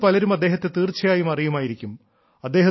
നിങ്ങളിൽ പലരും അദ്ദേഹത്തെ തീർച്ചയായും അറിയുമായിരിക്കും